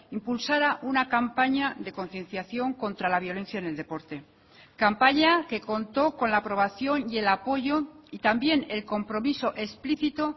impulsara una campaña de concienciación contra la violencia en el deporte campaña que contó con la aprobación y el apoyo y también el compromiso explícito